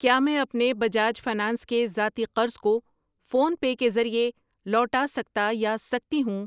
کیا میں اپنے بجاج فنانس کے ذاتی قرض کو فون پے کے ذریعے لوٹا سکتا یا سکتی ہوں؟